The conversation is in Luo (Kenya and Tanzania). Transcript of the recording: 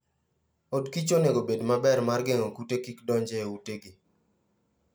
od kich onego obed maber mar geng'o kute kik donj e utegi.